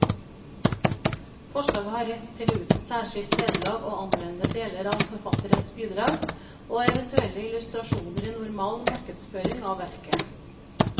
Forlaget har rett til uten særskilt vederlag å anvende deler av forfatterens bidrag og eventuelle illustrasjoner i normal markedsføring av verket.